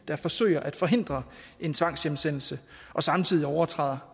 der forsøger at forhindre en tvangshjemsendelse og samtidig overtræder